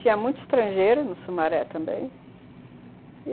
Tinha muita estrangeira no Sumaré também.